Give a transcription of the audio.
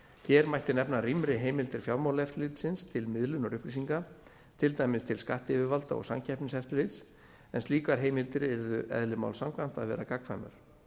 hér mætti nefna rýmri heimildir fjármálaeftirlitsins til miðlunar upplýsinga til dæmis til skattyfirvalda og samkeppniseftirlitsins en slíkar heimildir yrðu eðli máls samkvæmt að vera gagnkvæmar